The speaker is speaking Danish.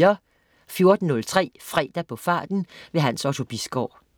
14.03 Fredag på farten. Hans Otto Bisgaard